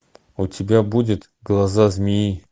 у тебя будет глаза змеи